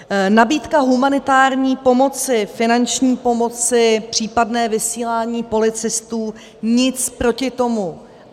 Nabídka humanitární pomoci, finanční pomoci, případné vysílání policistů - nic proti tomu.